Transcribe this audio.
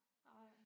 Nej